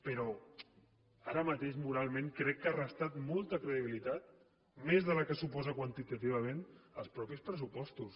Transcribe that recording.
però ara mateix moralment crec que ha restat molta credibilitat més de la que suposen quantitativament els mateixos pressupostos